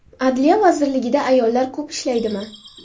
Adliya vazirligida ayollar ko‘p ishlaydimi?